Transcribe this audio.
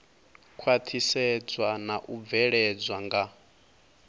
khwaṱhisedzwa na u bveledzwa nga